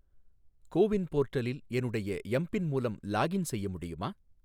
கோ win போர்ட்டலில் என்னுடைய M PIN மூலம் லாகின் செய்ய முடியுமா?